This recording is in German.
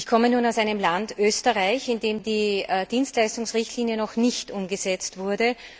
Ich komme aus einem Land, Österreich, in dem die Dienstleistungsrichtlinie noch nicht umgesetzt wurde.